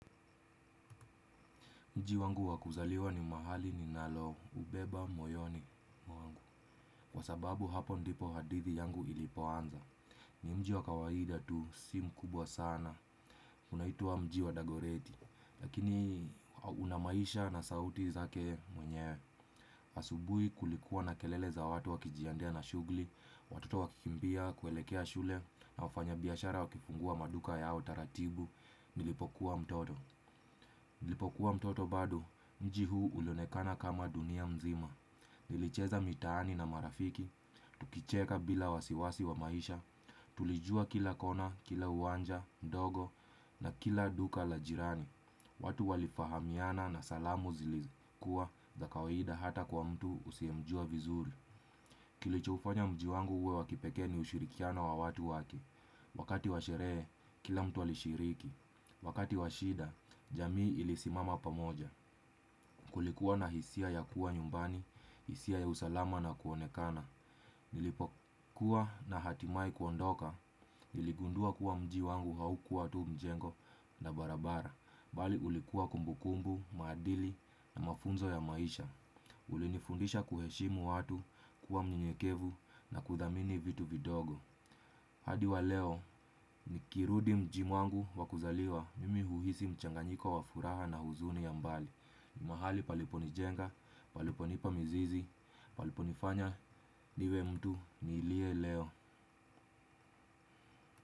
Mji wangu wa kuzaliwa ni mahali ninaloubeba moyoni mwangu. Kwa sababu hapo ndipo hadithi yangu ilipoanza. Ni mji wa kawaida tu si mkubwa sana. Unaitwa mji wa dagoreti. Lakini ukona maisha na sauti zake mwenyewe. Asubui kulikuwa na kelele za watu wakijiandaa na shugli. Watoto wakikimbia, kuelekea shule na wafanyabiashara wakifungua maduka yao taratibu. Nilipokuwa mtoto. Nilipokuwa mtoto bado. Mji huu ulionekana kama dunia mzima. Nilicheza mitaani na marafiki tukicheka bila wasiwasi wa maisha. Tulijua kila kona, kila uwanja, mdogo na kila duka la jirani. Watu walifahamiana na salamu zilikuwa za kawaida hata kwa mtu usiyemjua vizuri. Kilichofanya mji wangu uwe wa kipekee ni ushirikiano wa watu wake. Wakati wa sherehe, kila mtu alishiriki. Wakati wa shida, jamii ilisimama pamoja. Kulikuwa na hisia ya kuwa nyumbani, hisia ya usalama na kuonekana, nilipokuwa na hatimaye kuondoka, niligundua kuwa mji wangu haukuwa tu mjengo na barabara, bali ulikuwa kumbukumbu, maadili na mafunzo ya maisha, ulinifundisha kuheshimu watu kuwa mnyenyekevu na kuthamini vitu vidogo. Hadi wa leo nikirudi mji mwangu wa kuzaliwa mimi huhisi mchanganyiko wa furaha na huzuni ya mbali. Mahali paliponijenga, paliponipa mizizi, paliponifanya niwe mtu niliye leo.